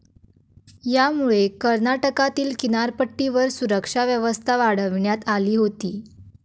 यामुळे कर्नाटकातील किनारपट्टीवर सुरक्षा व्यवस्था वाढविण्यात आली होती.